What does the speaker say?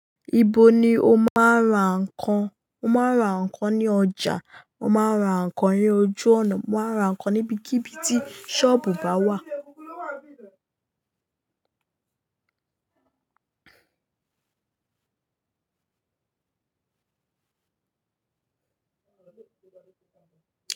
Ibo ni o máa ń ra nǹkan? Mo máa ń ra nǹkan ní ọjà, o máa ń ra nǹkan ní ojú ọ̀nà, o máa ń ra nǹkan níbikíbi tí sọ́ọ̀bù bá wà.